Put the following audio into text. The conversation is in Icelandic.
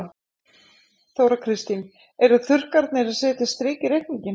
Þóra Kristín: En þurrkarnir setja strik í reikninginn?